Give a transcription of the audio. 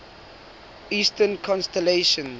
eastern constellations